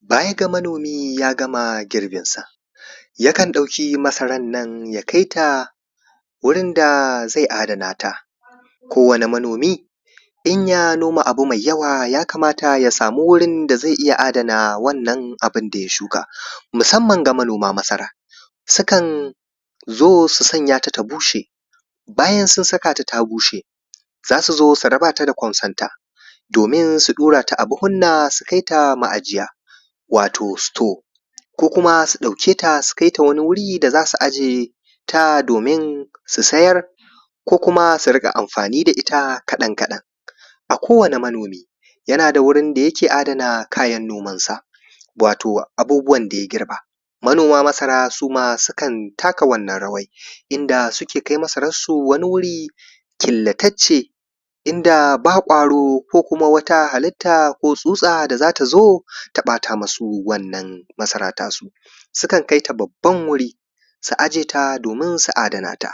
baya ga manomi ya gama girbin sa yakan ɗauki masarar nan ya kaita wurin da zai adana ta kowanni manomi in ya noma abu mai yawa ya kamata ya samu wurin da zai iya adana wannan abun da ya shuka musamman ga manoma masara sukan zo su sanya ta ta bushe bayan sun saka ta ta bushe zasu zo su raba ta da kusonta domin su ɗura ta a buhuna su kaita ma’ajiya wato store ko kuma su ɗauke ta su kaita wani wuri da zasu aje ta domin su sayar ko kuma su riƙa amfani da ita kaɗan kaɗan a kowani manomi yana da wurin da yake adana kayan noman sa wato abubuwan da ya girba manoma masara sukan taka wannan rawar inda suke kai masarar su wani wuri killatacce inda ba ƙwaro ko kuma wata halitta ko tsutsa da zata zo ta ɓata musu wannan masara ta su sukan kaita babban wuri su aje ta domin su adana ta